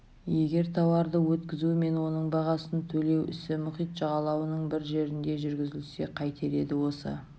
егер тауарды өткізу мен оның бағасын төлеу ісі мұхит жағалауының бір жерінде жүргізілсе қайтер еді осы